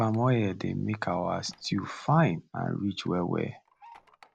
palm oil dey make our stew fine and rich well well